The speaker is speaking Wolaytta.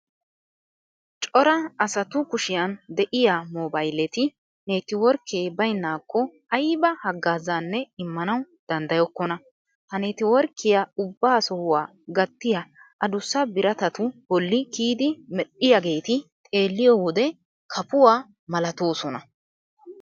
Cora asatu kushiyan de'iya moobayleti neettiworkkee baynnaakko ayba haggaazaanne immanawu danddayokkonna. Ha neettiworkkiya ubba sohuwa gattiya adussa biratatu bolli kiyidi medhdhiyageeti xeelliyo wode kafuwa malatoosona.